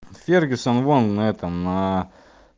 фергюсон вон этом